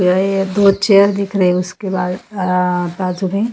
यह ये दो चेयर दिख रही है उसके बाद आ काल सुभे--